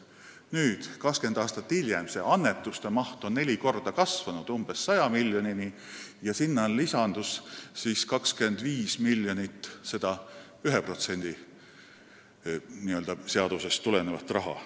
Nüüdseks, 20 aastat hiljem, on annetuste maht kasvanud neli korda, umbes 100 miljonini, millele lisandus 25 miljonit n-ö 1% seadusest tulenevat raha.